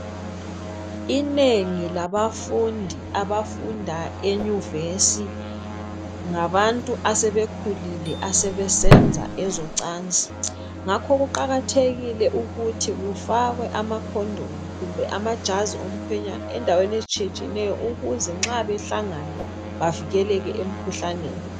Inengi labafundi abafunda enyuvesi ngabantu asebekhululile asebesenza ezocansi ngakho kuqakathekile ukuthi kufakwe amakhondomu kumbe amajazi omkhwenyana endaweni ezitshiyetshiye neyo ukuze nxa behlangana bavikeleke emkhuhlaneni.